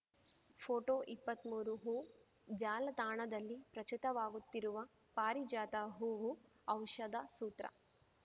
ಫೋಟೋಇಪ್ಪತ್ಮೂರು ಹೂಜಾಲತಾಣದಲ್ಲಿ ಪ್ರಚುತವಾಗುತ್ತಿರುವ ಪಾರಿಜಾತ ಹೂವು ಔಷಧ ಸೂತ್ರ